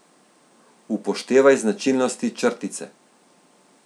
Upoštevaj značilnosti črtice.